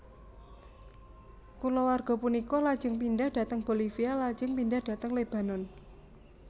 Kulawarga punika lajeng pindhah dhateng Bolivia lajeng pindhah dhateng Lebanon